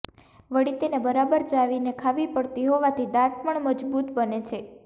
વળી તેને બરાબર ચાવીને ખાવી પડતી હોવાથી દાંત પણ મજબૂત બને છે